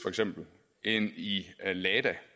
end i lada det